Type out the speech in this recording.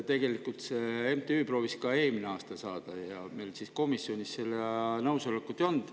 Tegelikult see MTÜ proovis ka eelmine aasta saada ja siis meil komisjonis seda nõusolekut ei olnud.